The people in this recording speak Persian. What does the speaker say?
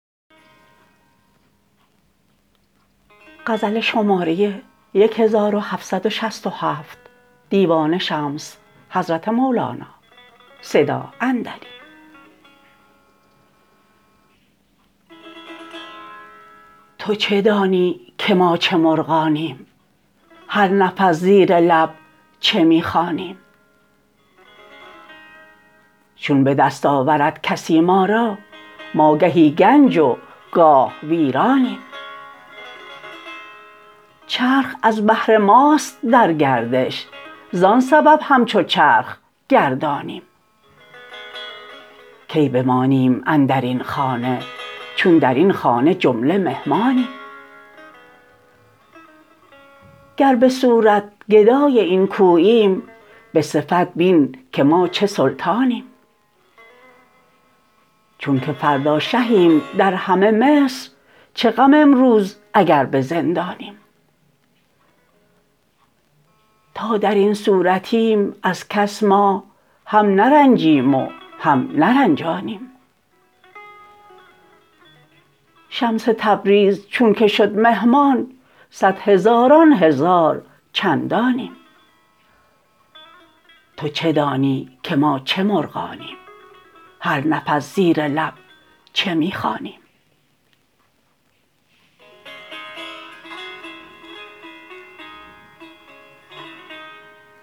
تو چه دانی که ما چه مرغانیم هر نفس زیر لب چه می خوانیم چون به دست آورد کسی ما را ما گهی گنج گاه ویرانیم چرخ از بهر ماست در گردش زان سبب همچو چرخ گردانیم کی بمانیم اندر این خانه چون در این خانه جمله مهمانیم گر به صورت گدای این کوییم به صفت بین که ما چه سلطانیم چونک فردا شهیم در همه مصر چه غم امروز اگر به زندانیم تا در این صورتیم از کس ما هم نرنجیم و هم نرنجانیم شمس تبریز چونک شد مهمان صد هزاران هزار چندانیم